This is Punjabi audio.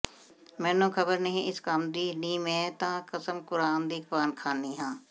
ਮੈਨੂੰ ਖ਼ਬਰ ਨਾਹੀਂ ਏਸ ਕੰਮ ਦੀ ਨੀ ਮੈਂ ਤਾਂ ਕਸਮ ਕੁਰਆਨ ਦੀ ਖਾਵਨੀ ਹਾਂ